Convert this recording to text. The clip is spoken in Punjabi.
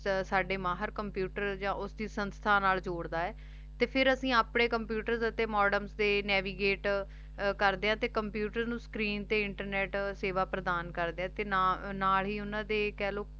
ਸਾਡੇ ਮਾਹਰ computer ਯਾ ਓਸਦੀ ਸੰਸਥਾ ਨਾਲ ਜ਼ੋਰਦਾ ਆਯ ਤੇ ਫੇਰ ਅਸੀਂ ਅਪਨੇ computer ਤੇ modems ਕਰਦੇ ਆਂ ਤੇ navigate ਸੇਵਾ ਪ੍ਰਦਾਨ ਕਰਦੇ ਆਂ ਤੇ ਨਾਲ ਈ ਓਨਾਂ ਦੀ ਆਯ ਕੇਹ੍ਲੋ